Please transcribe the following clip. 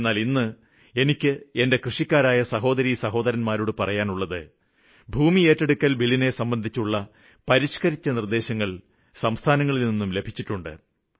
എന്നാല് ഇന്ന് എനിയ്ക്ക് എന്റെ കൃഷിക്കാരായ സഹോദരിസഹോരന്മാരോട് പറയാനുള്ളത് ഭൂമി ഏറ്റെടുക്കല് ബില്ലിനെ സംബന്ധിച്ചുള്ള ഭേദഗതികള് സംസ്ഥാനങ്ങളില് നിന്നും ലഭിച്ചിട്ടുണ്ട്